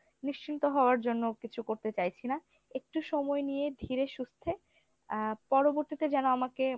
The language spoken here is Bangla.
নিশ্চিন্ত হওয়ার জন্য কিছু করতে চাইছি না, একটু সময় নিয়ে ধীরেসুস্থে আ পরবর্তীতে যেন আমাকে,